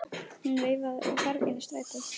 Hún veifaði og hvarf inn í strætó.